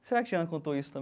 Será que Tiana contou isso